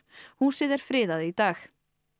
húsið er friðað í dag